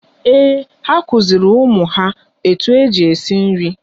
Èè, ha kụziri ụmụ ha etu eji esi nri